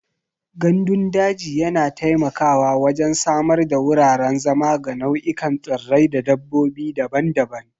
Gandun daji yana taimakawa wajen samar da wuraren zama ga nau'ikan tsirrai da dabbobi daban-daban.